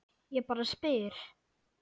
Ég bara spyr.